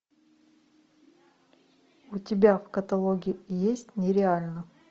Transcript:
у тебя в каталоге есть нереально